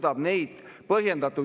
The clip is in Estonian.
Ja see annab meile just nimelt aega.